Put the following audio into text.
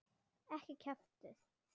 Ekki kjaftið þið.